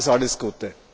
Alles, alles Gute!